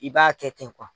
I b'a kɛ ten kuwa